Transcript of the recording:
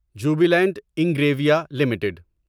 Jubilant Ingrevia limited